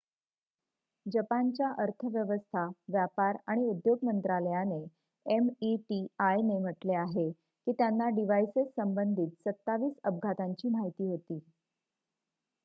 जपानच्या अर्थव्यवस्था व्यापार आणि उद्योग मंत्रालयाने meti म्हटलेआहे की त्यांना डिव्हाइसेस संबंधित 27 अपघातांची माहिती होती